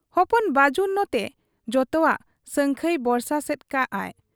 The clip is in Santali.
ᱦᱚᱯᱚᱱ ᱵᱟᱹᱡᱩᱱ ᱱᱚᱛᱮ ᱡᱚᱛᱚᱣᱟᱜ ᱥᱟᱹᱝᱠᱷᱟᱹᱭ ᱵᱚᱨᱥᱟ ᱥᱮᱫ ᱠᱟᱜ ᱟᱭ ᱾